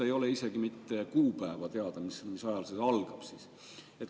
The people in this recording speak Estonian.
Ei ole isegi mitte kuupäeva teada, mis ajal see algab.